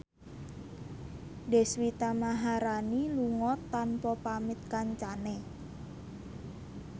Deswita Maharani lunga tanpa pamit kancane